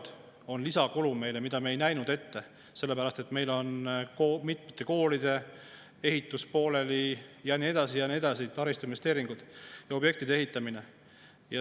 See on lisakulu, mida me ei näinud ette, sellepärast et meil on mitmete koolide ehitus pooleli, taristuinvesteeringud, objektide ehitamine ja nii edasi.